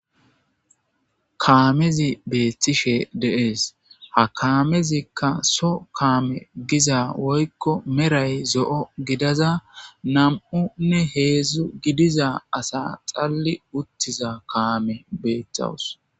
Kaamezi beethtishe deees ha kaamezikka so kaame giza woykko meray zo'o gidaza nam'unne heedzdzu gidiza asa xalli uttiza kaame beettawus.